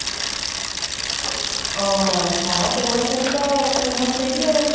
ଅହଃ ହଁ, ସେଗୁଡ଼ା ସବୁ ତ famous ସେଇଠି ଆଉ